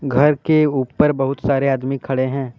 घर के ऊपर बहुत सारे आदमी खड़े हैं।